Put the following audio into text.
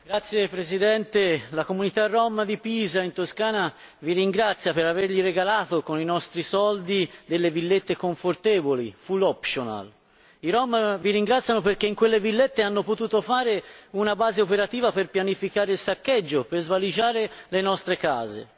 Signor Presidente, onorevoli colleghi, la comunità Rom di Pisa, in Toscana, vi ringrazia per averle regalato con i nostri soldi delle villette confortevoli, I Rom vi ringraziano perché in quelle villette hanno potuto fare una base operativa per pianificare il saccheggio, per svaligiare le nostre case.